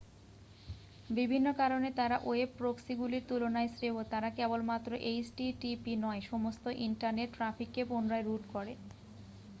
বিভিন্ন কারণে তারা ওয়েব প্রক্সিগুলির তুলনায় শ্রেয় তারা কেবলমাত্র http নয় সমস্ত ইন্টারনেট ট্র্যাফিককে পুনরায় রুট করে